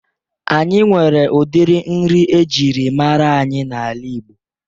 Anyị nwere udiri nri ejiri mara anyị n'ala Ịgbo